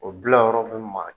O bila yɔrɔ bi maa